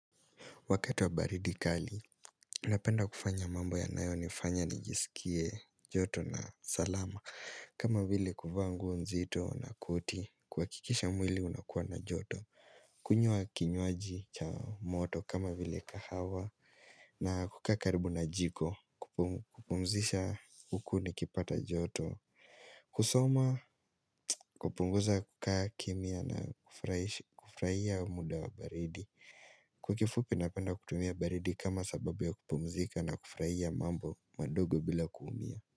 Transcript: Wakati wa baridi kali, unapenda kufanya mambo yanayo nifanya nijisikie joto na salama. Kama vile kuvaa nguo nzito na koti, kuhakikisha mwili unakuwa na joto. Kunywa kinywaji cha moto kama vile kahawa na kukaa karibu na jiko, kupumzisha huku nikipata joto. Kusoma, kupunguza kukaa kimya na kufurahia muda wa baridi. Kwa kifupi napenda kutumia baridi kama sababu ya kupumzika na kufurahia mambo madogo bila kuumia.